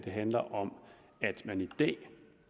handler om